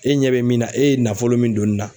E ɲɛ be min na e ye nafolo min don nin na